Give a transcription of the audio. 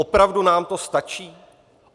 Opravdu nám to stačí?